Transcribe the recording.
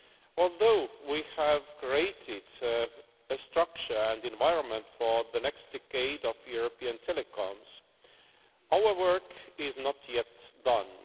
Although we have created a structure and environment for the next decade of European telecoms, our work is not yet done.